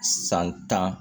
San tan